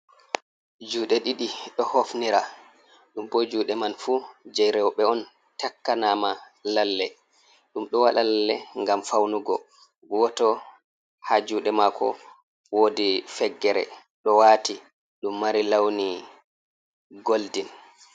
Jude ɗiɗi do hofnira ɗum bo juɗe man fu jei rewbe on takkanama lalle ɗum ɗo wada lalle gam faunugo wato ha juɗe mako wodi feggere do wati dum mari lawni golden